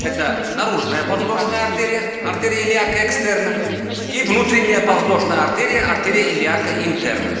это наружная подвздошная артерия артерия или ака экстерне и внутренняя подвздошная артерия артерия или ака интерна